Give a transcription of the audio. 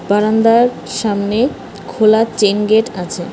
বারান্দার সামনে খোলা চেইন গেট আছে।